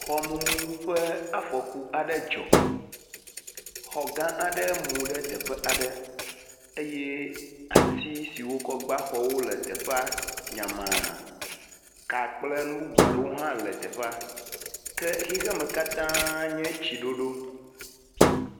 Xɔmumu ƒe afɔku aɖe dzɔ. Xɔ gã aɖe mu ɖe teƒe aɖe, eye ati siwo wokɔ gbã xɔwo le teƒea nyama. Kaa kple nu bubu aɖewo hã le teƒea ke xixeme katã nye tsiɖoɖo.